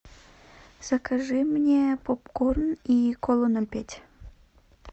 закажи мне попкорн и кола ноль пять